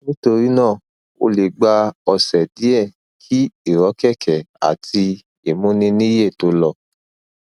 nítorí náà ó lè gba ọsẹ díẹ kí ìrọkẹkẹ àti ìmúniníyè tó lọ